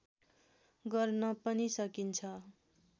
गर्न पनि सकिन्छ